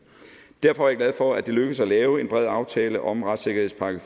derfor er jeg glad for at det er lykkedes at lave en bred aftale om retssikkerhedspakke